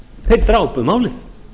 þeir drápu málið